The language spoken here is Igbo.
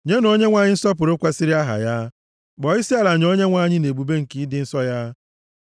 Nyenụ Onyenwe anyị nsọpụrụ kwesiri aha ya; kpọọ isiala nye Onyenwe anyị nʼebube nke ịdị nsọ ya.